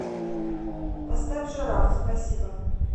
поставь жираф спасибо